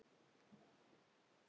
Þín Fanney Ósk.